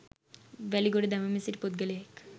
වැලි ගොඩ දමමින් සිටි පුද්ගලයෙක්